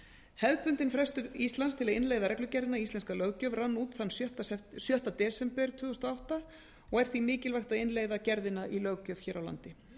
hefðbundinn frestur íslands til að innleiða reglugerðina í íslenska löggjöf rann út þann sjötta desember tvö þúsund og átta og er því mikilvægt að innleiða gerðina í löggjöf hér á landi